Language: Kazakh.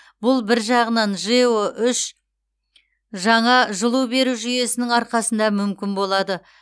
бұл бір жағынан жэо үш жаңа жылу беру жүйесінің арқасында мүмкін болады